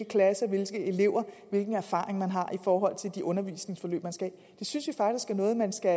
klasser hvilke elever hvilke erfaringer man har i forhold til de undervisningsforløb man skal have det synes vi faktisk er noget man skal